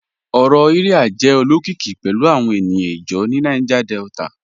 Ọrọ Iría jẹ̀ olokikì pẹ̀lu awọn ènìyàn ìjáw ni Niger Delta